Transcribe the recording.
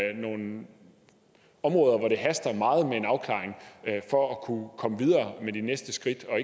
er nogle områder hvor det haster meget med en afklaring for at kunne komme videre med de næste skridt og